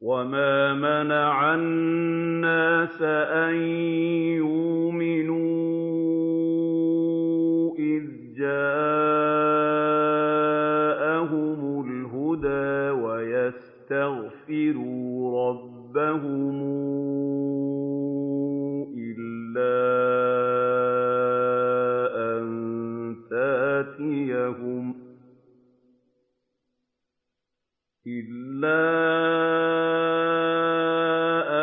وَمَا مَنَعَ النَّاسَ أَن يُؤْمِنُوا إِذْ جَاءَهُمُ الْهُدَىٰ وَيَسْتَغْفِرُوا رَبَّهُمْ إِلَّا